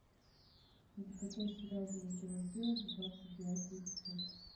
закачай сериал дневники вампира двадцать девятый эпизод